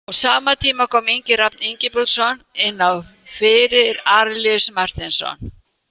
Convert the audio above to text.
Á sama tíma kom Ingi Rafn Ingibergsson inná fyrir Arilíus Marteinsson.